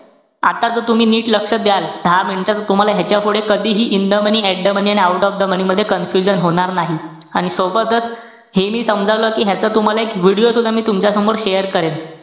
आता ज तुम्ही नीट लक्ष द्याल, दहा minute तुम्हाला ह्याच्या पुढे कधीही in the money, at the money आणि out of the money मध्ये confusion होणार नाही. आणि सोबतच, हे मी समजावल्यावरती ह्याचा तुम्हाला एक video सुद्धा मी तुमच्या समोर share करेन.